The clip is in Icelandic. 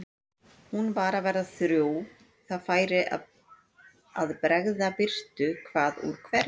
Hún var að verða þrjú, það færi að bregða birtu hvað úr hverju.